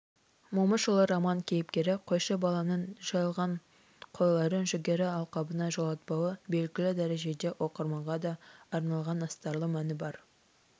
момышұлы роман кейіпкері қойшы баланың жайылған қойларын жүгері алқабына жолатпауы белгілі дәрежеде оқырманға да арналған астарлы мәні бар